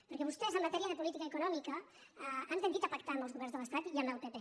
perquè vostès en matèria de política econòmica han tendit a pactar amb els governs de l’estat i amb el pp